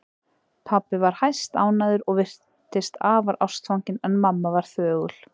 Pabbi var hæstánægður og virtist afar ástfanginn en mamma var þögul.